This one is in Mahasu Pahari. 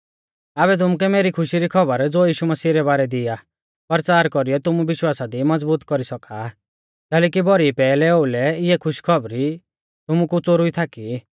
आबै तुमुकै मेरी खुशी री खौबर ज़ो यीशु मसीह रै बारै दी आ परचार कौरीयौ तुमु विश्वासा दी मज़बूत कौरी सौका आ कैलैकि भौरी पैहलै ओउलै इऐ खुशखौबरी तुमु कु च़ोरुई थाकी